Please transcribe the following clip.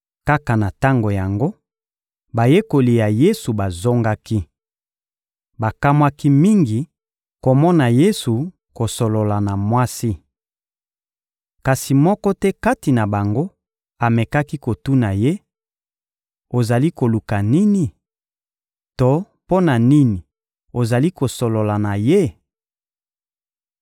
Kaka na tango yango, bayekoli ya Yesu bazongaki. Bakamwaki mingi komona Yesu kosolola na mwasi. Kasi moko te kati na bango amekaki kotuna Ye: «Ozali koluka nini?» to «Mpo na nini ozali kosolola na ye?»